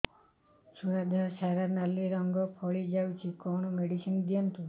ଛୁଆ ଦେହ ସାରା ନାଲି ରଙ୍ଗର ଫଳି ଯାଇଛି କଣ ମେଡିସିନ ଦିଅନ୍ତୁ